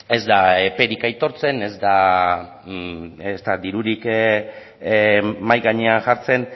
ez da eperik aitortzen ez da dirurik mahai gainean jartzen